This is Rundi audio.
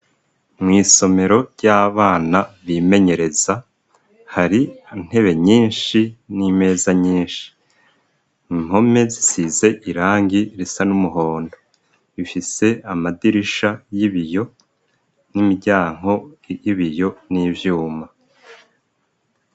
Mw'isomero ry'abana bimenyereza hari intebe nyinshi n'imeza nyinshi. Impome zisize irangi risa n'umuhondo. Rifise amadirisha y'ibiyo n'imiryango y'ibiyo n'ivyuma.